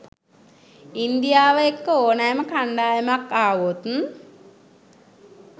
ඉන්දියාව එක්ක ඕනෑම කණ්ඩායමක් ආවොත්